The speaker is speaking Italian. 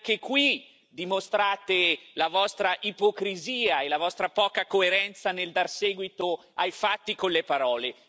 E anche qui, dimostrate la vostra ipocrisia e la vostra poca coerenza nel dar seguito ai fatti con le parole.